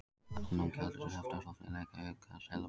Afnám gjaldeyrishafta ofarlega í huga seðlabanka